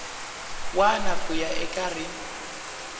wana ku ya eka rin